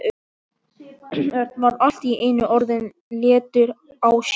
Örn var allt í einu orðinn léttur á sér.